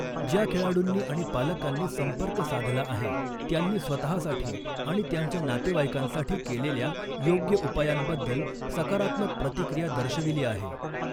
ज्या खेळाडूंनी आणि पालकांनी संपर्क साधला आहे त्यांनी स्वतःसाठी आणि त्यांच्या नातेवाईकांसाठी केलेल्या योग्य उपायांबद्दल सकारात्मक प्रतिक्रिया दर्शविली आहे.